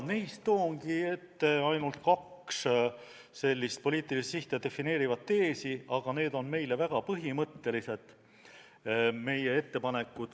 Toongi teie ette ainult kaks poliitilist sihti defineerivat teesi, aga need ettepanekud on meile väga põhimõttelised.